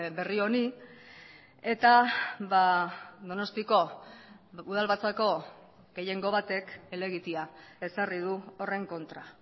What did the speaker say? berri honi eta donostiko udalbatzako gehiengo batek helegitea ezarri du horren kontra